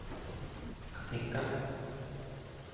Katinka